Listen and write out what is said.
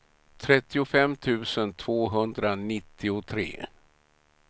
trettiofem tusen tvåhundranittiotre